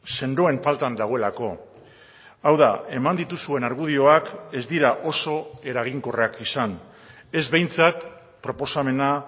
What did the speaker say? sendoen faltan dagoelako hau da eman dituzuen argudioak ez dira oso eraginkorrak izan ez behintzat proposamena